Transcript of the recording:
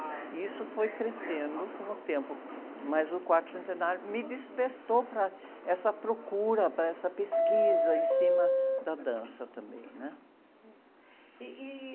E isso foi crescendo com o tempo, mas o quarto centenário me despertou para essa procura, para essa pesquisa em cima da dança também, né?